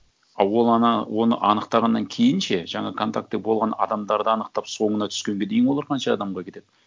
а ол ана оны анықтағаннан кейін ше жаңа контакты болған адамдарды анықтап соңына түскенге дейін олар қанша адамға кетеді